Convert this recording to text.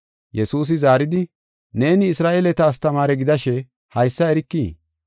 Yesuusi zaaridi, “Neeni Isra7eeleta astamaare gidashe haysa erikii?